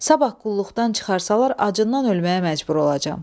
Sabah qulluqdan çıxarsalar, acından ölməyə məcbur olacam.